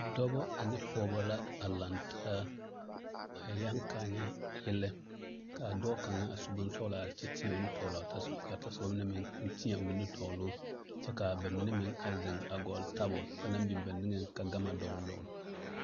Dɔba ane pɔgeba la a laŋ taa a yɛŋ ka a nyɛ yɛlɛ ka a dɔɔ kaŋa a su bonsɔglɔ are kyɛ teɛ o nu tɔgle tɔsoba ka o tɔsoba meŋ teɛ o nu tɔgle o kyɛ ka a ba mine meŋ a zeŋ a gɔlle tabol ba naŋ ba naŋ biŋ ba nigeŋ ka gama dɔgle dɔgle.